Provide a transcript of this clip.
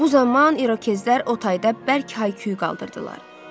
Bu zaman İrokezlər otayda bərk hay-küy qaldırdılar.